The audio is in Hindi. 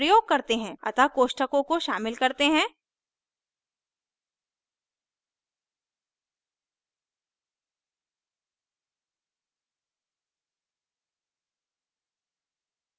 अतः कोष्ठकों को शामिल करते हैं